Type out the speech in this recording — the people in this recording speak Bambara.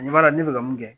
Ɲama ne bɛ ka mun kɛ